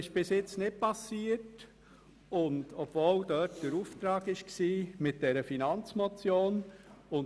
Trotz dieses Auftrags ist das bisher nicht geschehen.